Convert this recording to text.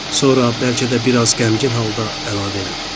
Sonra bəlkə də biraz qəmgin halda əlavə elədi.